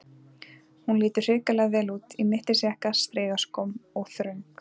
Hún lítur hrikalega vel út, í mittisjakka, strigaskóm og þröng